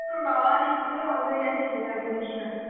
বাবাঃ লিখে লিখে পাগল হয়ে যাচ্ছি আর বলিস না